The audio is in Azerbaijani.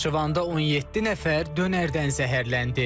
Naxçıvanda 17 nəfər dönərdən zəhərləndi.